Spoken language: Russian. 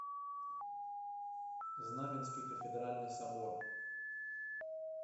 знаменский кафедральный собор